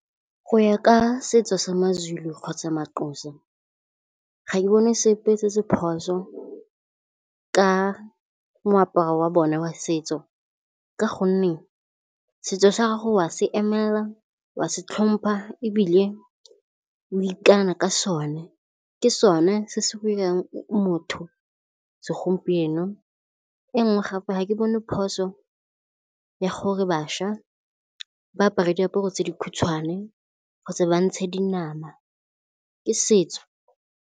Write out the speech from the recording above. Go ya ka setso sa maZulu kgotsa maXhosa ga e bone sepe se se phoso ka moaparo wa bona wa setso. Ka gonne setso sa gago wa se emela, wa se itlhompha, ebile o ikana ka sone. Ke sone se se go 'irang motho segompieno. Engwe gape ga ke bone phoso ya gore bašwa ba apare diaparo tse dikhutshwane kgotsa ba ntshe dinama, ke setso.